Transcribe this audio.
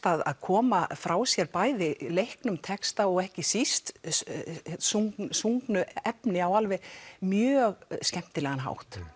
að koma frá sér bæði leiknum texta og ekki síst efni á mjög skemmtilegan hátt